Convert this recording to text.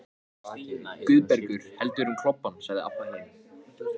Aðeins þyrfti að finna þá leið.